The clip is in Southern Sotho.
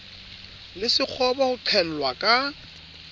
le sekgobo ho qhellwa ka